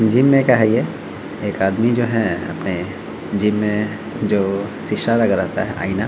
gym में का है ये एक आदमी जो है अपने जिम में जो शीशा लगा रहता है आईना --